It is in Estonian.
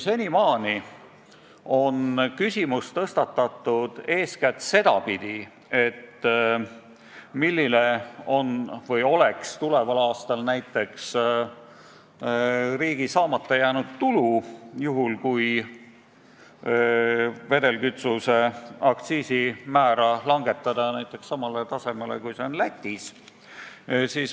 Senimaani on küsimust tõstatatud eeskätt sedapidi, et milline oleks tuleval aastal riigi saamata jääv tulu, juhul kui vedelkütuse aktsiisi määra langetada näiteks samale tasemele, kui see on Lätis.